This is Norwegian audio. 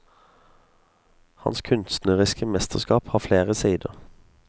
Hans kunstneriske mesterskap har flere sider.